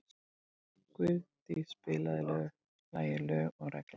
Guðdís, spilaðu lagið „Lög og regla“.